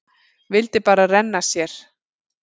Vildi bara renna sér.